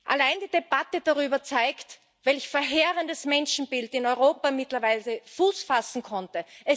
Allein die Debatte darüber zeigt, welch verheerendes Menschenbild in Europa mittlerweile Fuß fassen konnte.